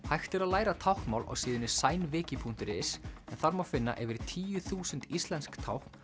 hægt er að læra táknmál á síðunni punktur is en þar má finna yfir tíu þúsund íslensk tákn